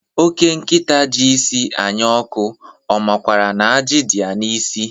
Ọke nkịta ji isi anya ọkụ, ọ makwaara na ajị dị ya n'isi?